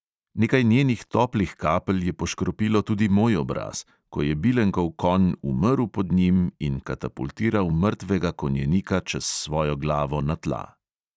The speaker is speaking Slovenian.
Nekaj njenih toplih kapelj je poškropilo tudi moj obraz, ko je bilenkov konj umrl pod njim in katapultiral mrtvega konjenika čez svojo glavo na tla.